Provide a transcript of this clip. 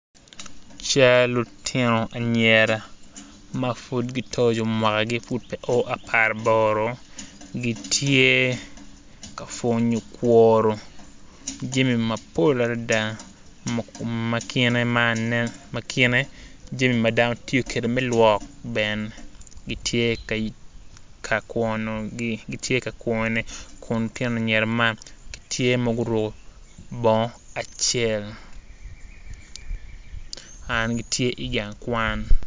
Cal lutino anyira mapud gitoco mwakagi pud pe o aparaboro gitye ka pwonyo kwono jami mapol adada makine jami madano tiyo kwede me lwok bene gitye kakwanogi kun lutino anyira man gitye ma guruko bongo acel gitye igang kwan